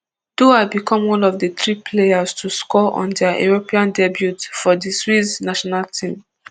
duah become one of di three players to score on dia european debut for di swiss national team